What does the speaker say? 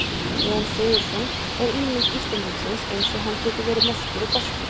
Jón Sigurðsson er ímynd Íslendingsins eins og hann getur verið mestur og bestur.